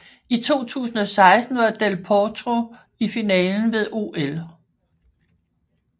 I 2016 var Del Potro i finalen ved OL